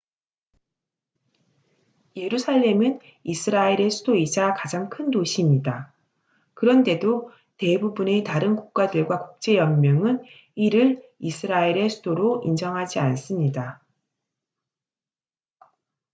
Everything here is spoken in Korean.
예루살렘은 이스라엘의 수도이자 가장 큰 도시입니다 그런데도 대부분의 다른 국가들과 국제 연맹은 이를 이스라엘의 수도로 인정하지 않습니다